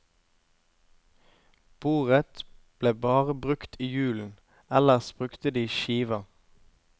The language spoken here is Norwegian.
Bordet ble bare brukt i julen, ellers brukte de skiva.